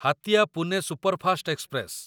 Hatia Pune superfast express